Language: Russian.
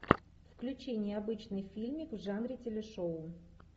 включи необычный фильмик в жанре телешоу